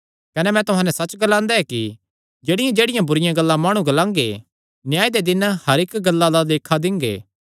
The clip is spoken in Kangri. कने मैं तुहां नैं सच्च ग्लांदा ऐ कि जेह्ड़ियांजेह्ड़ियां बुरिआं गल्लां माणु ग्लांगे न्याय दे दिन हर इक्की गल्ला दा लेखा दिंगे